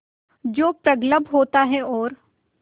जो प्रगल्भ होता है और